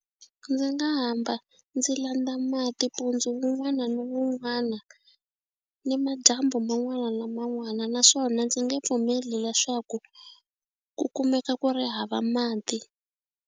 Ndzi nga hamba ndzi landza mati mpundzu wun'wana na wun'wana ni madyambu man'wana na man'wana naswona ndzi nge pfumeli leswaku ku kumeka ku ri hava mati.